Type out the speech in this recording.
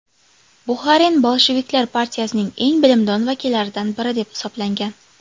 Buxarin bolsheviklar partiyasining eng bilimdon vakillaridan biri deb hisoblangan.